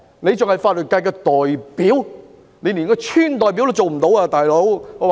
他是法律界的代表，但我認為他連村代表也做不來。